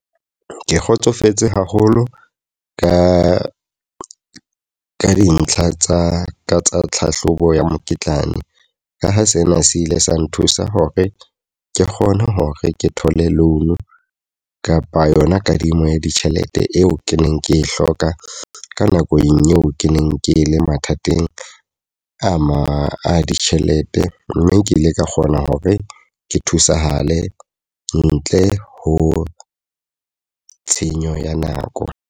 Ke kgotsofetse haholo ka dintlha tsa tlhahlobo ya mokitlane. Ka ha sena se ile sa nthusa hore ke kgone hore ke thole line kapa yona kadimo ya ditjhelete eo ke neng ke e hloka ka nakong eo ke neng ke le mathateng a ditjhelete. Mme ke ile ka kgona hore ke thusahale ntle ho tshenyo ya nako.